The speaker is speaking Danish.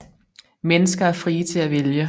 Mennesker er frie til at vælge